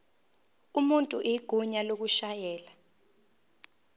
umuntu igunya lokushayela